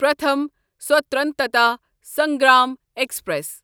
Pratham Swatantrata Sangram express